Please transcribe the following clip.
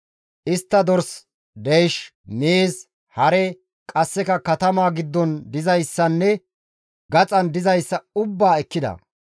Istta dors, deysh, miiz, hare, qasseka katamaa giddon dizayssanne gaxan dizayssa ubbaa ekkida.